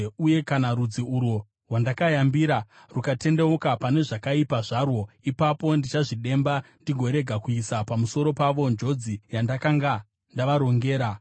uye kana rudzi urwo rwandakayambira rukatendeuka pane zvakaipa zvarwo, ipapo ndichazvidemba ndigorega kuisa pamusoro pavo njodzi yandakanga ndavarongera.